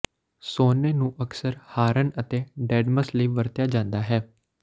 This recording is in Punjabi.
ਸੋਨੇ ਨੂੰ ਅਕਸਰ ਹਾਰਨ ਅਤੇ ਡੈਡਮਸ ਲਈ ਵਰਤਿਆ ਜਾਂਦਾ ਹੈ